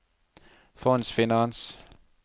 fondsfinans